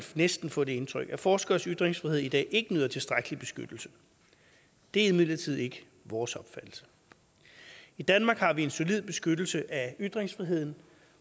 næsten få det indtryk at forskeres ytringsfrihed i dag ikke nyder tilstrækkelig beskyttelse det er imidlertid ikke vores opfattelse i danmark har vi en solid beskyttelse af ytringsfriheden